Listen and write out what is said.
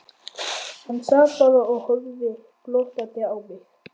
Hann sat bara og horfði glottandi á mig.